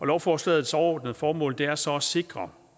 lovforslagets overordnede formål er så at sikre